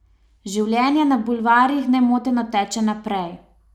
Življenje na bulvarjih nemoteno teče naprej.